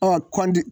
Ɔ kɔnti